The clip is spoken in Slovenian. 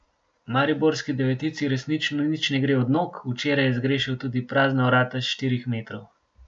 Mariborski devetici resnično nič ne gre od nog, včeraj je zgrešil tudi prazna vrata s štirih metrov.